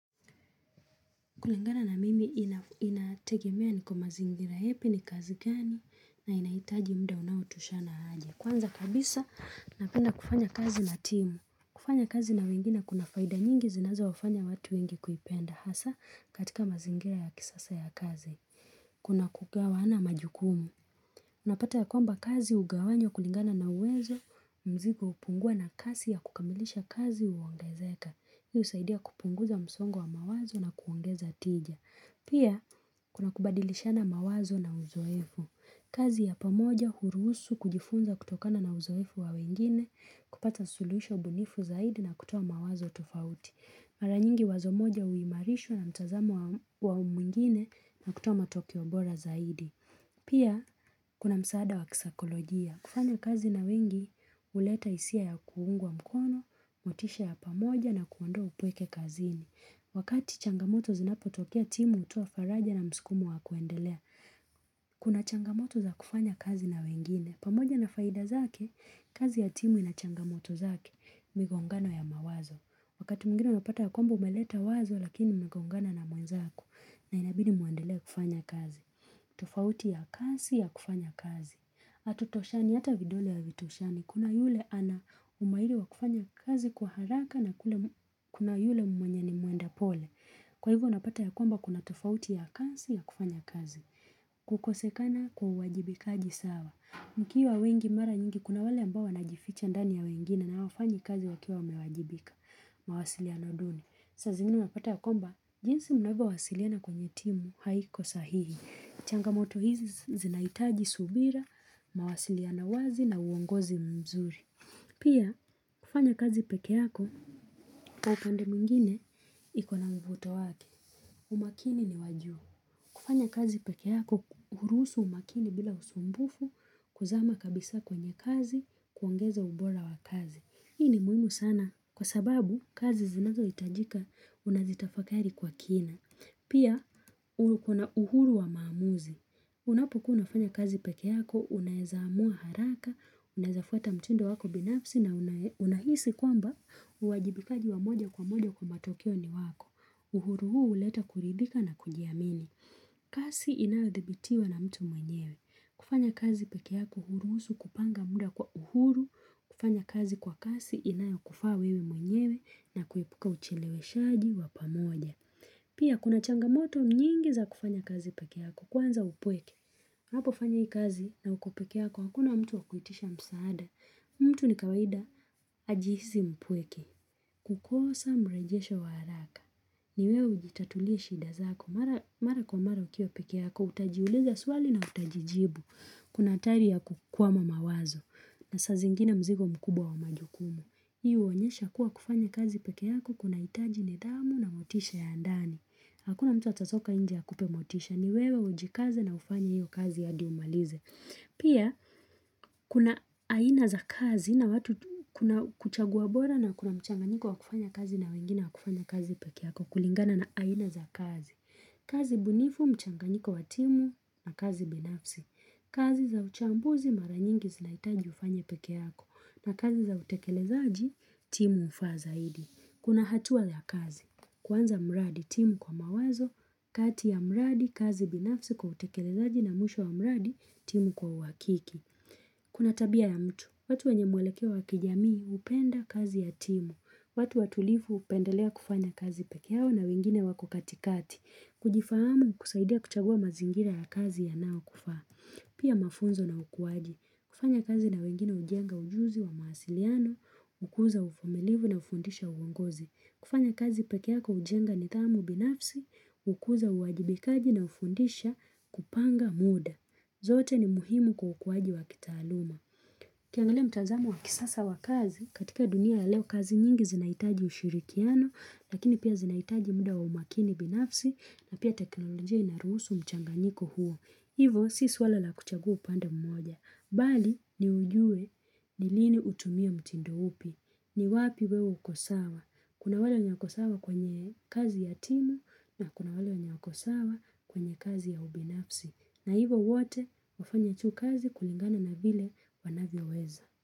Kulingana na mimi inategemea niko mazingira yapi ni kazi gani na inaitaji muda unaotoshana aje. Kwanza kabisa napenda kufanya kazi na timu. Kufanya kazi na wengine kunafaida nyingi zinazo wafanya watu wengi kuipenda hasa katika mazingira ya kisasa ya kazi. Kuna kugawana majukumu. Unapata ya kwamba kazi ugawanywa kulingana na uwezo mzigo upungua na kasi ya kukamilisha kazi uongezeka. Hii usaidia kupunguza msongo wa mawazo na kuongeza tija. Pia, kuna kubadilishana mawazo na uzoefu. Kazi ya pamoja, huruhusu, kujifunza kutokana na uzoefu wa wengine, kupata suluhisho ubunifu zaidi na kutoa mawazo tofauti. Maranyingi wazo moja uimarishwa na mtazamu wao mwingine na kutoa matokiobora zaidi. Pia, kuna msaada wa kisaikolojia. Kufanya kazi na wengi, uleta hisia ya kuungwa mkono, motisha ya pamoja na kuondoa upweke kazini. Wakati changamoto zinapo tokea timu hutoa faraja na mskumo wa kuendelea Kuna changamoto za kufanya kazi na wengine pamoja na faida zake, kazi ya timu ina changamoto zake migongano ya mawazo Wakati mwingine unapata ya kwamba umeleta wazo lakini inagongano na mwenzaku na inabidi mwendelee kufanya kazi tofauti ya kasi ya kufanya kazi Atutoshani hata vidole havitoshani Kuna yule ana umairi wa kufanya kazi kwa haraka na kuna yule mwenye ni mwenda pole. Kwa hivyo unapata ya kwamba kuna tofauti ya kasi ya kufanya kazi. Kukosekana kwa uwajibikaji sawa. Mkiwa wengi mara nyingi kuna wale ambao wanajificha ndani ya wengine na hawafanyi kazi wakiwa wamewajibika. Mawasiliano duni. Saa zingini unapata ya kwamba, jinsi mnavyo wasiliana kwenye timu haiko sahihi. Changamoto hizi zinaitaji subira, mawasiliano wazi na uongozi mzuri. Pia, kufanya kazi pekee yako, kwa pande mwingine iko na mvuto wake. Umakini ni wajuu. Kufanya kazi peke yako, uruhusu umakini bila usumbufu, kuzama kabisa kwenye kazi, kuongeza ubora wa kazi. Hii ni muhimu sana, kwa sababu kazi zinazo itajika unazitafakari kwa kina. Pia uru kuna uhuru wa maamuzi. Unapo kuwa unafanya kazi peke yako, unaeza amua haraka, unaezafuata mtindo wako binafsi na unahisi kwamba uwajibikaji wa moja kwa moja kwa matokeo ni wako. Uhuru huu uleta kuridhika na kujiamini. Kasi inayo dhibitiwa na mtu mwenyewe. Kufanya kazi pekeyako uruhusu kupanga muda kwa uhuru, kufanya kazi kwa kasi inayo kufaa wewe mwenyewe na kuepuka uchileweshaji wa pamoja. Pia kuna changamoto nyingi za kufanya kazi peke yako kwanza upweke. Napofanya hii kazi na uko peke yako hakuna mtu wa kuitisha msaada. Mtu ni kawaida ajihisi mpweke. Kukosa mrejesho wa haraka. Ni wewe ujitatulii shida zako. Mara kwa mara ukiwa peke yako utajiuliza swali na utajijibu. Kuna hatari ya kukwama mawazo. Na saa zingine mzigo mkubwa wa majukumu. Hii uonyesha kuwa kufanya kazi peke yako kuna itaji nidhamu na motisha ya ndani. Hakuna mtu atatoka inje akupe motisha. Ni wewe ujikaze na ufanye hiyo kazi hadi umalize. Pia, kuna aina za kazi na watu kuchagua bora na kuna mchanganiko wa kufanya kazi na wengine wa kufanya kazi peke yako kulingana na aina za kazi. Kazi bunifu, mchanganyiko wa timu na kazi binafsi. Kazi za uchambuzi maranyingi zinaitaji ufanye peke yako na kazi za utekelezaji timu ufaa zaidi. Kuna hatua ya kazi, kwanza mradi timu kwa mawazo, kati ya mradi, kazi binafsi kwa utekelezaji na mwisho wa mradi timu kwa uwakiki. Kuna tabia ya mtu, watu wenye mwelekeo wa kijamii upenda kazi ya timu, watu watulifu upendelea kufanya kazi peke yao na wengine wako katikati, kujifahamu kusaidia kuchagua mazingira ya kazi yanayo kufaa, pia mafunzo na ukuwaji, kufanya kazi na wengine hujenga ujuzi wa mawasiliano, ukuza ufumilivu na ufundisha uongozi. Kufanya kazi peke yako ujenga nidhamu binafsi, hukuza uwajibikaji na ufundisha kupanga muda. Zote ni muhimu kwa ukuwaji wa kitaaluma. Ukiangalia mtazamo wa kisasa wa kazi, katika dunia ya leo kazi nyingi zinaitaji ushirikiano, lakini pia zinaitaji muda wa umakini binafsi na pia teknolojia inaruhusu mchanganyiko huo. Hivo si swala la kuchagua upanda mmoja, bali ni ujue ni lini utumia mtindo upi, ni wapi wewe uko sawa, kuna wale wanye wako sawa kwenye kazi ya timu na kuna wale wanye wako sawa kwenye kazi ya ubinafsi, na hivo wote wafanya hicho kazi kulingana na vile wanavyo weza.